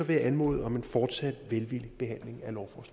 jeg anmode om en fortsat velvillig behandling